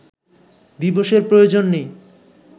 দিবসের প্রয়োজন নেই